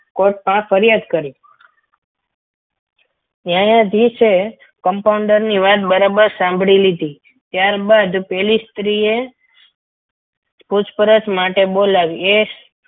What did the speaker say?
court માં ફરિયાદ કરી તે આ દિવસે compounder ની વાત બરાબર સાંભળી લીધી ત્યારબાદ પેલી સ્ત્રીએ પૂછપરછ માટે બોલાવી.